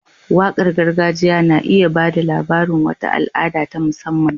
Waƙar gargajiya na iya ba da labarin wata al'ada ta musamman.